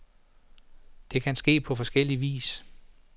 Det kan ske på forskellig vis.